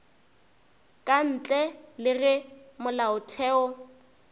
ka ntle le ge molaotheo